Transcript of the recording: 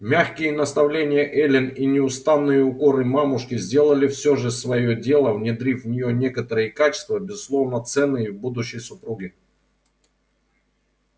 мягкие наставления эллин и неустанные укоры мамушки сделали всё же своё дело внедрив в неё некоторые качества безусловно ценные в будущей супруге